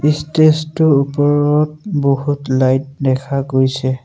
Stage টোৰ ওপৰত বহুত লাইট দেখা গৈছে।